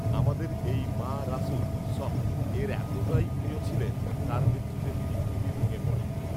আমাদের এই মা রাসুল সঃ এর এতটাই প্রিয় ছিলেন তার মৃত্যুতে তিনি খুবই ভেঙে পড়েন